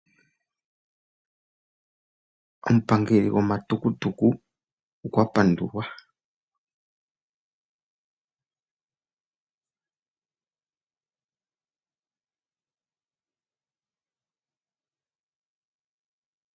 Omupangeli goma tukutuku okwa pandulwa.